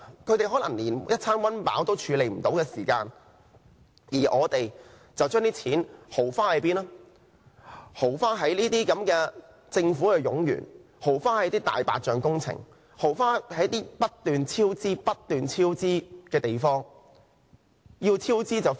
他們可能連一餐溫飽也沒有，而我們卻把錢豪花在這些政府冗員、"大白象"工程和不斷超支的項目上。